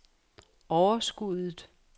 overskuddet